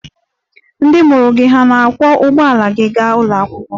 Ndị mụrụ gị hà na-akwọ ụgbọala gị gaa ụlọ akwụkwọ?